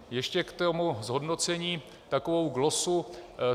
Ještě k tomu zhodnocení takovou glosu.